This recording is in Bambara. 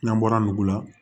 N'an bɔra nugu la